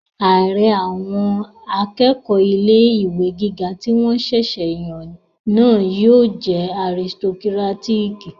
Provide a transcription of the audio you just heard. Ààrẹ àwọn akẹ́kọ̀ọ́ ilé-ìwé gíga tí wọ́n ṣẹ̀sẹ̀ yàn náà yóò jẹ́ aristokírátíkì